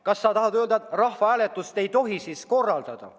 Kas sa tahad öelda, et rahvahääletust ei tohi korraldada?